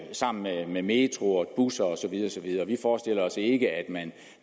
sammen med med metro og busser og så videre vi forestiller os ikke at man